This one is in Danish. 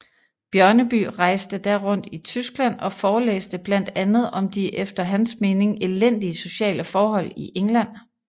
Bjørneby rejste da rundt i Tyskland og forelæste blandt andet om de efter hans mening elendige sociale forhold i England